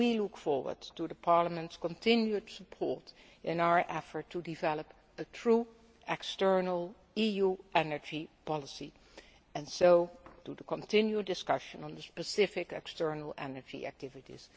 We look forward to Parliament's continued support in our effort to develop a true external EU energy policy and to the continued discussion on the specific external energy activities.